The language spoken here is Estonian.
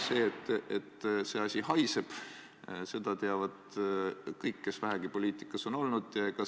Seda, et see asi haiseb, teavad kõik, kes vähegi poliitikas on olnud.